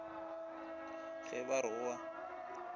ge ba re o a